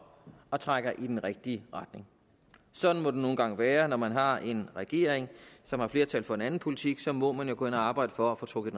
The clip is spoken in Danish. og trækker i den rigtige retning sådan må det nu engang være når man har en regering som har flertal for en anden politik for så må man jo gå ind og arbejde for at få trukket